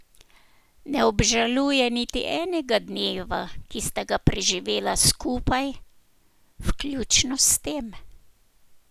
Ne obžaluje niti enega dneva, ki sta ga preživela skupaj, vključno s tem.